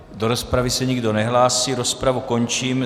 Do rozpravy se nikdo nehlásí, rozpravu končím.